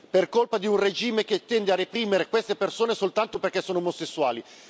per colpa di un regime che tende a reprimere queste persone soltanto perché sono omosessuali.